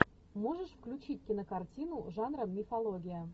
можешь включить кинокартину жанра мифология